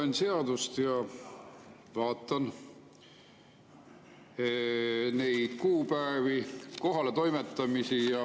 Loen seadust ja vaatan neid kuupäevi, kohaletoimetamisi.